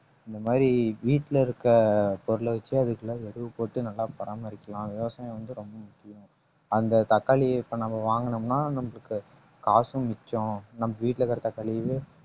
இந்தமாதிரி வீட்ல இருக்க பொருள் வச்சு போட்டு நல்லா பராமரிக்கலாம் விவசாயம் வந்து ரொம்ப முக்கியம் அந்த தக்காளியை இப்ப நம்ம வாங்குனோம்னா நம்மளுக்கு காசும் மிச்சம் நம்ம வீட்டுல இருக்கிற